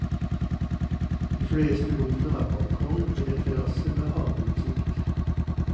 De fleste rommene har balkong eller terrasse med havutsikt.